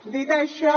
dit això